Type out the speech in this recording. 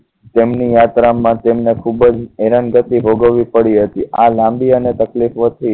તેમની યાત્રા માં ખૂબ જ હેરાનગતિ ભોગવી પડી હતી આ લાંબી અને તકલીપોથી